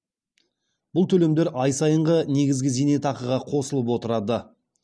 бұл төлемдер ай сайынғы негізгі зейнетақыға қосылып отырады